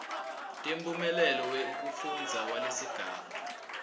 temphumela wekufundza walesigaba